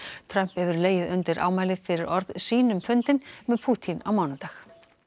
Trump hefur legið undir ámæli fyrir orð sín um fundinn með Pútín á mánudag